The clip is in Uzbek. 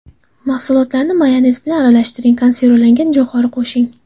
Mahsulotlarni mayonez bilan aralashtiring, konservalangan jo‘xori qo‘shing.